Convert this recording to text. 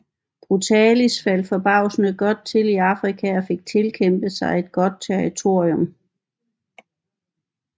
Brutalis faldt forbavsende godt til i Afrika og fik tilkæmpet sig et godt territorium